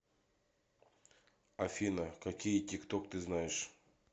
афина какие тикток ты знаешь